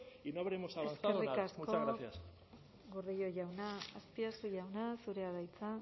y no habremos avanzado nada muchas gracias eskerrik asko gordillo jauna azpiazu jauna zurea da hitza